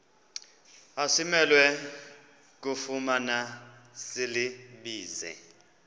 asimelwe kufumana silibize